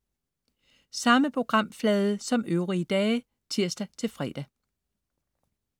Samme programflade som øvrige dage (tirs-fre)